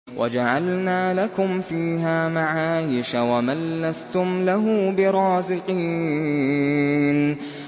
وَجَعَلْنَا لَكُمْ فِيهَا مَعَايِشَ وَمَن لَّسْتُمْ لَهُ بِرَازِقِينَ